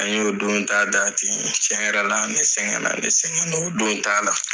An y'o don ta da ten tiɲɛ yɛrɛ la ne sɛgɛn na ne sɛgɛn na o don ta la.